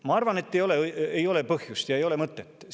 Ma arvan, et ei ole põhjust ja ei ole mõtet.